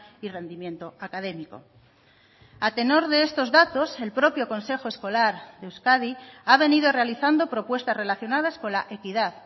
y rendimiento académico a tenor de estos datos el propio consejo escolar de euskadi ha venido realizando propuestas relacionadas con la equidad